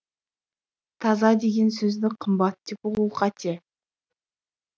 таза деген сөзді қымбат деп ұғу қате